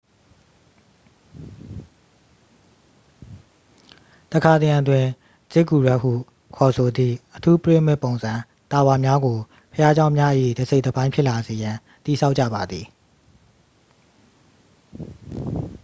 တစ်ခါတစ်ရံတွင် ဇစ်ဂူရက်စ်ဟုခေါ်သည့် အထူးပိရမစ်ပုံစံ တာဝါများကို ဘုရားကျောင်းများ၏ တစ်စိတ်တစ်ပိုင်း ဖြစ်လာစေရန် တည်ဆောက်ကြပါသည်